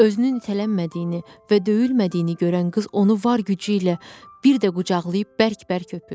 Özünün nitələnmədiyini və döyülmədiyini görən qız onu var gücü ilə bir də qucaqlayıb bərk-bərk öpür.